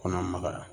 Kɔnɔ magaya